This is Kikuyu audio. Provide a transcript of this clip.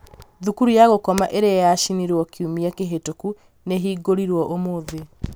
thukuru ya gũkoma ĩrĩa yacinirwo kiumia kĩhĩtũku nĩ ihingũrirũo ũmũthĩ